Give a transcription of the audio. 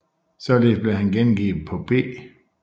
Således blev han gengivet på P